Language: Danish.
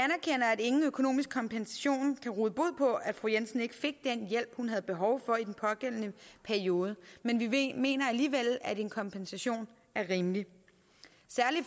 at ingen økonomisk kompensation kan råde bod på at fru jensen ikke fik den hjælp hun havde behov for i den pågældende periode men vi mener alligevel at en kompensation er rimeligt særlig